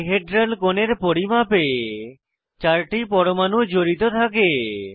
die hedral কোণের পরিমাপে 4 টি পরমাণু জড়িত থাকে